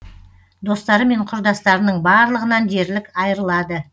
достары мен құрдастарының барлығынан дерлік айрылады